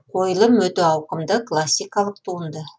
қойылым өте ауқымды классикалық туынды